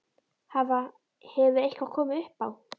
Hafa, hefur eitthvað komið upp á?